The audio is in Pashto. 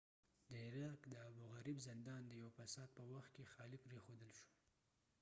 د عراق د ابوغریب زندان د یوه فساد په وخت کې خالی پریښودل شو